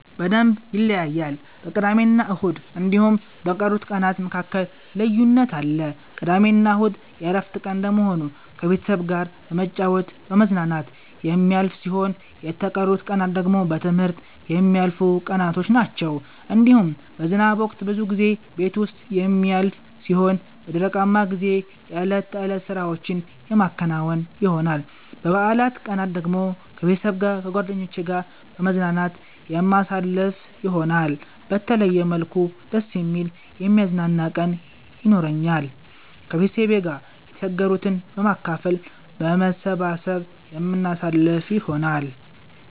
በደምብ ይለያያል በቅዳሜና እሁድ እንዲሁም በቀሩት ቀናት መካከል ልዩነት አለ። ቅዳሜና እሁድ የእረፍት ቀን እንደመሆኑ ከቤተሰብ ጋራ በመጫወት በመዝናናት የሚያልፍ ሲሆን የተቀሩት ቀናት ደግሞ በትምህርት የሚያልፉቀናቶች ናቸዉ። እንዲሁም በዝናብ ወቅት ብዙ ጊዜ ቤት ዉስጥ የሚያልፍ ሲሆን በደረቃማ ጊዜ የእለት ተእለት ስራዎቼን የማከናዉን ይሆናል። በበአላት ቀናት ደግሞ ከቤተሰብ ጋር ከጓደኜቼ ጋራ በመዝናናት የማሳልፍ ይሆናል። በተለየ መልኩ ደስ የሚል የሚያዝናና ቀን የኖራኛል። ከቤተሰብ ጋር የተቸገሩትን በማካፈል በመሰባሰብ የምናሳልፍ ይሆናል።